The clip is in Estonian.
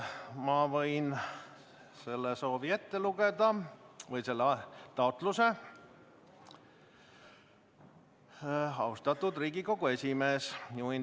Ma võin selle taotluse ette lugeda: "Austatud Riigikogu esimees!